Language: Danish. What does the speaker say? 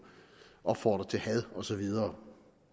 opfordre til had og så videre